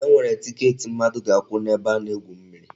E nwere tiket mmadụ ga-akwụ n'ebe a na-egwu mmiri.